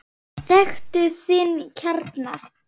Þekktu þinn kjarna!